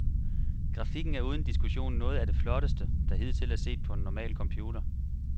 Grafikken er uden diskussion noget af det flotteste, der hidtil er set på en normal computer.